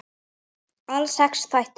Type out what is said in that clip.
Alls sex þættir.